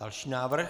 Další návrh.